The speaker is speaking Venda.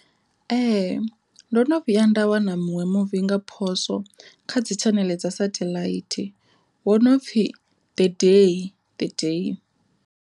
Ee ndo no vhuya nda wana muṅwe muvi nga phoswo kha dzi tshaneḽe dza sethaḽaithi wo no pfhi the day the day.